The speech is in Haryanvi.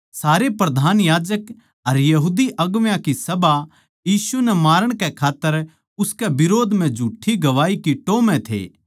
प्रधान याजक अर सारी बड्डी सभा यीशु नै मारण कै खात्तर उसकै बिरोध म्ह झूठ्ठी गवाही की टोह् म्ह थे